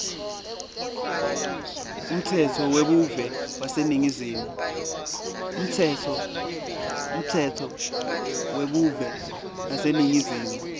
umtsetfo webuve waseningizimu